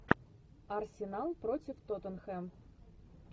арсенал против тоттенхэм